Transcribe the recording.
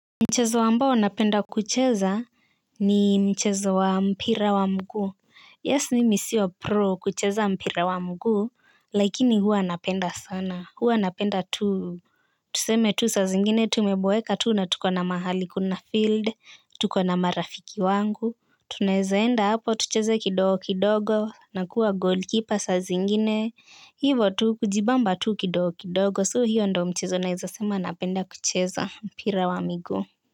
Mchezo ambao napenda kucheza ni mchezo wa mpira wa mguu. Yes, nimi siyo pro kucheza mpira wa mguu, lakini hua napenda sana. Hua napenda tu. Tuseme tu saa zingine, tumeboeka tu na tuko na mahali kuna field, tuko na marafiki wangu. Tunaezaenda hapo, tucheze kidogo kidogo, nakua goalkeeper saa zingine. Hivo tu kujibamba tu kidogo kidogo, so hiyo ndo mchezo naeza sema napenda kucheza mpira wa miguu.